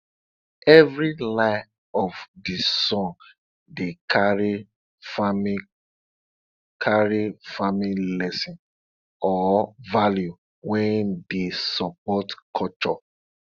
every line of de song dey carry farming carry farming lesson or value wey dey support culture